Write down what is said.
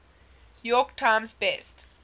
york times best